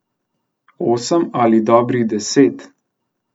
Osem ali dobrih deset?